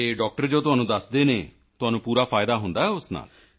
ਅਤੇ ਡਾਕਟਰ ਤੁਹਾਨੂੰ ਜੋ ਦੱਸਦੇ ਹਨ ਤੁਹਾਨੂੰ ਪੂਰਾ ਫਾਇਦਾ ਹੁੰਦਾ ਹੈ ਉਸ ਨਾਲ